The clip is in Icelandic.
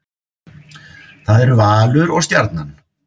Það eru Valur og Stjarnan